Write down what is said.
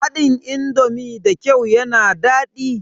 Haɗin indomi da kyau yana daɗi.